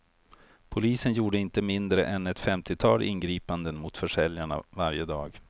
Polisen gjorde inte mindre än ett femtiotal ingripanden mot försäljarna varje dag.